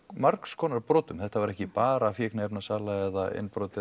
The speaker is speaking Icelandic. margskonar brotum þetta var ekki bara fíkniefnasala eða innbrot